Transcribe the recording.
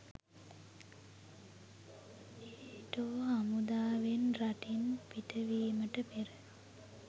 NATO හමුදාවන් රටින් පිටවීමට පෙර